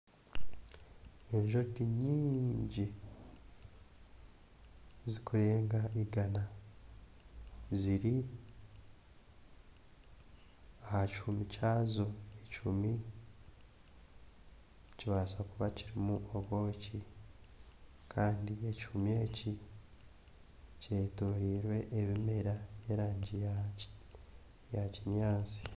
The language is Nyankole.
Enjoki nyingi zikurega igaana ziri aha kihuumi kyazo, ekihuumi nikibaasa kuba kirimu obwoki kandi ekihuumi eki kyetorirwe ebimera by'erangi ya kinyaatsi.